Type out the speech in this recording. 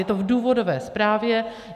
Je to v důvodové zprávě.